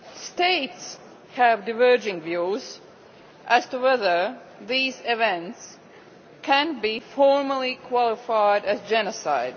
States have diverging views as to whether these events can be formally qualified as genocide.